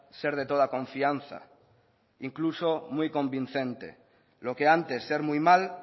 ser de toda confianza incluso muy convincente lo que antes ser muy mal